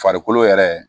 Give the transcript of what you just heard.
Farikolo yɛrɛ